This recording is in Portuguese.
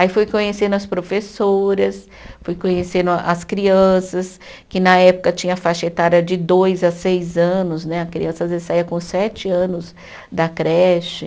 Aí fui conhecendo as professoras, fui conhecendo as crianças, que na época tinha faixa etária de dois a seis anos né, a criança às vezes saía com sete anos da creche.